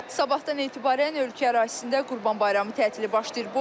Sabahtan etibarən ölkə ərazisində Qurban Bayramı tətili başlayır.